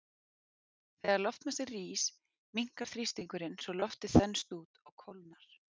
Þegar loftmassi rís, minnkar þrýstingurinn svo loftið þenst út og kólnar.